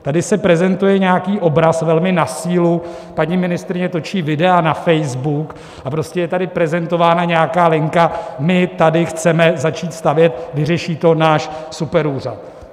Tady se prezentuje nějaký obraz velmi na sílu, paní ministryně točí videa na Facebook a prostě je tady prezentována nějaká linka: my tady chceme začít stavět, vyřeší to náš superúřad.